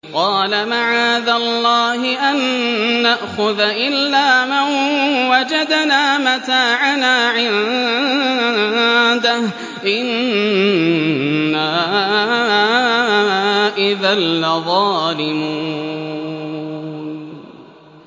قَالَ مَعَاذَ اللَّهِ أَن نَّأْخُذَ إِلَّا مَن وَجَدْنَا مَتَاعَنَا عِندَهُ إِنَّا إِذًا لَّظَالِمُونَ